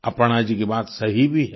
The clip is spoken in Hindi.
अपर्णा जी की बात सही भी है